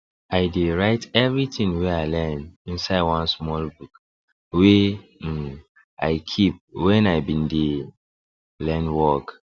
i dey write everything wey i learn inside one small book wey um i keep when i been dey learn work